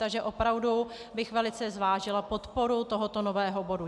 Takže opravdu bych velice zvážila podporu tohoto nového bodu.